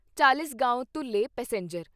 Chalisgaon Dhule passenger